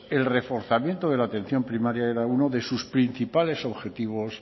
el reforzamiento de la atención primaria era uno de sus principales objetivos